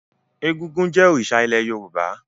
Egúngún jẹ́ òrìṣà ilẹ̀ Yorùbá.